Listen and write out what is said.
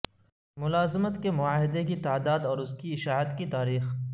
ملازمت کے معاہدے کی تعداد اور اس کی اشاعت کی تاریخ